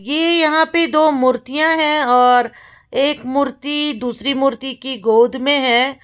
ये यहां पे दो मूर्तियां हैं और एक मूर्ति दूसरी मूर्ति की गोद में है।